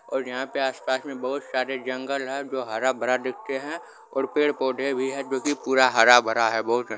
और यहाँ पे आसपास में बहुत सारे जंगल है जो हर-भरा दिखते है और पेड़-पौधे भी है जो कि पूरा हरा-भरा है बहुत --